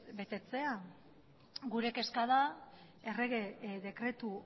betetzea gure kezka da errege dekretu